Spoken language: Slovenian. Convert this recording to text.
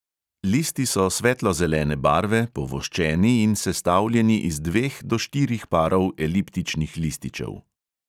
Listi so svetlo zelene barve, povoščeni in sestavljeni iz dveh do štirih parov eliptičnih lističev.